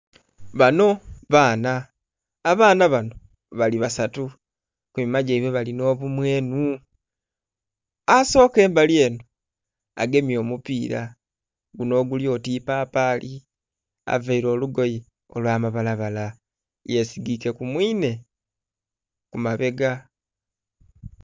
Bano baana, abaana bano bali basatu. Ku minhwa gyaibwe balinha obumwenhu. Asooka embali eno agemye omupiira guno oguli oti ipapaali, availe olugoye olwamabalabala, yesigike ku mwinhe ku mabega.